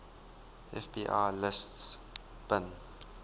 fbi lists bin